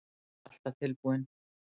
Ég er alltaf tilbúinn.